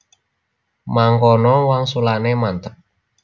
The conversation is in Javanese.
Mangkono wangsulane mantep